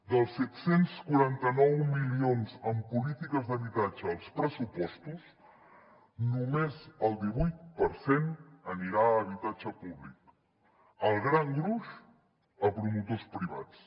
dels set cents i quaranta nou milions en polítiques d’habitatge als pressupostos només el divuit per cent anirà a habitatge públic el gran gruix a promotors privats